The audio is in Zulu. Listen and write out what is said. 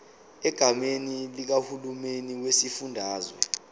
egameni likahulumeni wesifundazwe